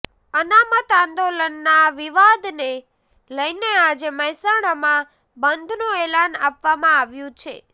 અનામત આંદોલનના વિવાદને લઈને આજે મહેસાણામાં બંધનું એલાન આપવામાં આવ્યું છે